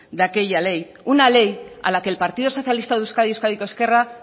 de aquella ley una ley a la que el partido socialista de euskadi euskadiko ezkerra